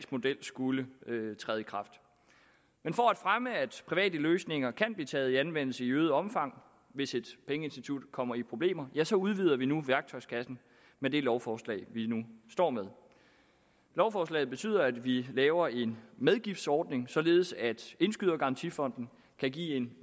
model skulle træde i kraft men for at fremme at private løsninger kan blive taget i anvendelse i øget omfang hvis et pengeinstitut kommer i problemer ja så udvider vi nu værktøjskassen med det lovforslag vi nu står med lovforslaget betyder at vi laver en medgiftsordning således at indskydergarantifonden kan give en